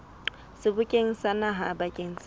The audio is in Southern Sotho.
sebokeng sa naha bakeng sa